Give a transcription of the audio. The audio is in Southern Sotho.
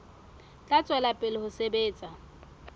tla tswela pele ho sebetsa